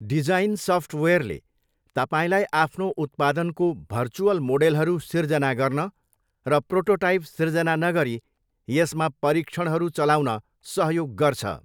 Design सफ्टवेयरले तपाईँलाई आफ्नो उत्पादनको भर्चुअल मोडेलहरू सिर्जना गर्न र प्रोटोटाइप सिर्जना नगरी यसमा परीक्षणहरू चलाउन सहयोग गर्छ।